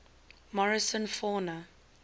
morrison fauna